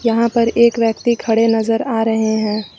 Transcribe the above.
यहां पर एक व्यक्ति खड़े नजर आ रहे हैं।